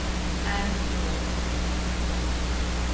En nú?